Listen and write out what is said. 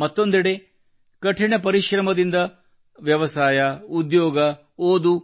ಮತ್ತೊಂದೆಡೆ ಕಠಿಣ ಪರಿಶ್ರಮದಿಂದ ವ್ಯವಸಾಯ ಉದ್ಯೋಗ ಓದು